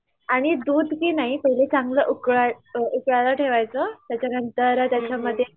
आणि दुधकीनाही पहिला चांगलं उकळाय उकळायला ठेवायचं त्याच्यानंतर त्याच्यामध्ये